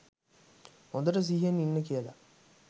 හොඳට සිහියෙන් ඉන්න කියල.